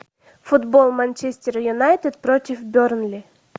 футбол манчестер юнайтед против бернли